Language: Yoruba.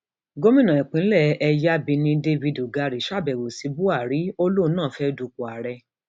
gomina ìpínlẹ ẹyábẹni david ugari ṣàbẹwò sí buhari ó lóun náà fẹẹ dúpọ ààrẹ